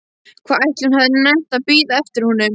Hvað ætli hún hafi nennt að bíða eftir honum!